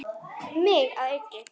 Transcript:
Mig að auki.